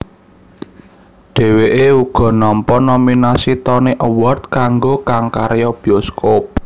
Dhèwèké uga nampa nominasi Tony Award kanggo kang karya bioskop